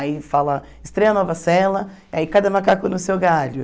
Aí fala, estreia nova cela, aí cada macaco no seu galho.